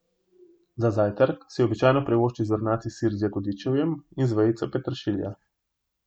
Za zajtrk si običajno privošči zrnati sir z jagodičevjem in vejico peteršilja.